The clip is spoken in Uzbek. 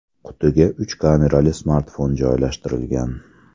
Qutiga uch kamerali smartfon joylashtirilgan.